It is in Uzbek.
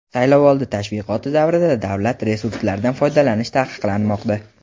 saylovoldi tashviqoti davrida davlat resurslaridan foydalanish taqiqlanmoqda.